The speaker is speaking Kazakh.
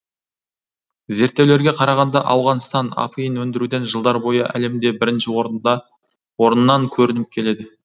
зерттеулерге қарағанда ауғанстан апиын өндіруден жылдар бойы әлемде бірінші орыннан көрініп келеді